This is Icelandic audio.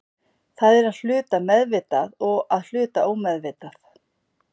Það er að hluta meðvitað og að hluta ómeðvitað.